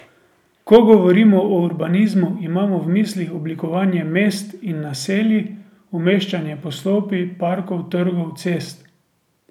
Ko govorimo o urbanizmu, imamo v mislih oblikovanje mest in naselij, umeščanje poslopij, parkov, trgov, cest ...